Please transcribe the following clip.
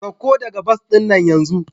Sauka daga bas din nan yanzu!